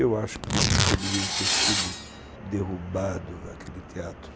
Eu acho que nunca deveria ter sido derrubado aquele teatro.